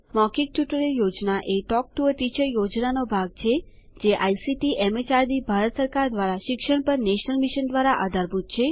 મૌખિક ટ્યુટોરિયલ યોજના talk to a teacher યોજનાનો ભાગ છે જે આઇસીટીએમએચઆરડીભારત સરકાર દ્વારા શિક્ષણ પર નેશનલ મિશન દ્વારા આધારભૂત છે